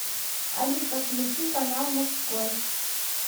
алиса включи канал мужской